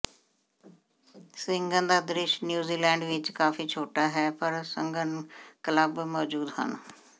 ਸਵਿੰਗਨ ਦਾ ਦ੍ਰਿਸ਼ ਨਿਊਜ਼ੀਲੈਂਡ ਵਿਚ ਕਾਫੀ ਛੋਟਾ ਹੈ ਪਰ ਸਘਨ ਕਲੱਬ ਮੌਜੂਦ ਹਨ